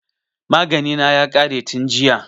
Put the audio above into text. Magani na ya ƙare tin jiya